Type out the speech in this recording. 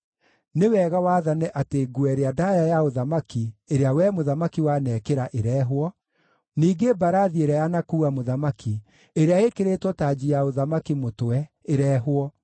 nĩ wega wathane atĩ nguo ĩrĩa ndaaya ya ũthamaki ĩrĩa wee mũthamaki wanekĩra ĩrehwo, ningĩ mbarathi ĩrĩa yanakuua mũthamaki ĩrĩa ĩĩkĩrĩtwo tanji ya ũthamaki mũtwe ĩrehwo.